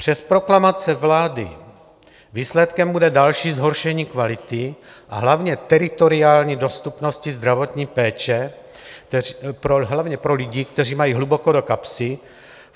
Přes proklamace vlády výsledkem bude další zhoršení kvality a hlavně teritoriální dostupnosti zdravotní péče hlavně pro lidi, kteří mají hluboko do kapsy.